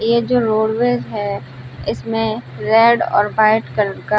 ये जो रोडवेज है इसमें रेड और वाइट कलर का --